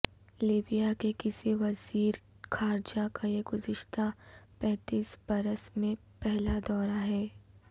Libya کے کسی وزیر خارجہ کا یہ گزشتہ پینتیس برس میں پہلا دورہ ہے